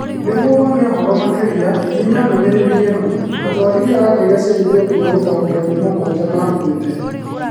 Nĩguo wone ũhoro makĩria, hihinya ndomereriri eno: Atwarithia a ndege cia Ethiopia gũtaũkĩrwo nĩ mugwaja makuĩte